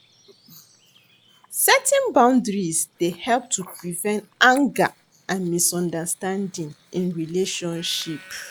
Setting boundaries dey help to prevent anger and misunderstanding in relationship.